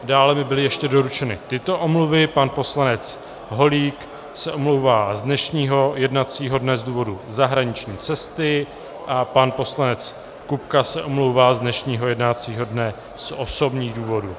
Dále mi byly ještě doručeny tyto omluvy: Pan poslanec Holík se omlouvá z dnešního jednacího dne z důvodu zahraniční cesty a pan poslanec Kupka se omlouvá z dnešního jednacího dne z osobních důvodů.